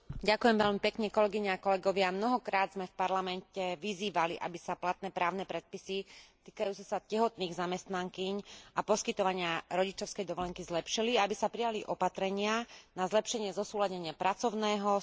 Mnohokrát sme v Parlamente vyzývali, aby sa platné právne predpisy týkajúce sa tehotných zamestnankýň a poskytovania rodičovskej dovolenky zlepšili a aby sa prijali opatrenia na zlepšenie zosúladenia pracovného, súkromného a rodinného života.